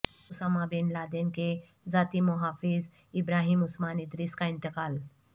Usama bin Laden کے ذاتی محافظ ابراہیم عثمان ادریس کا انتقال